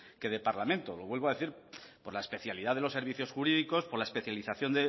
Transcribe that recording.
que de parlamento lo vuelvo a decir por la especialidad de los servicios jurídicos por la especialización